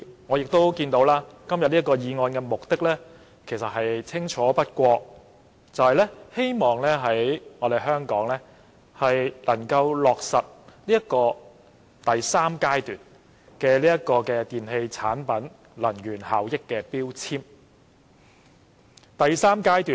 我亦看到今天這項擬議決議案的目的清楚不過，就是希望能在香港落實電器產品的強制性能源效益標籤計劃第三階段。